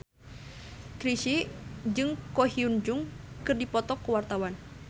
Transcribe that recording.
Chrisye jeung Ko Hyun Jung keur dipoto ku wartawan